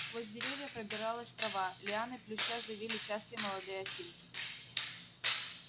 сквозь деревья пробилась трава лианы плюща завили частые молодые осинки